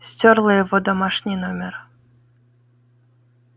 стёрла его домашний номер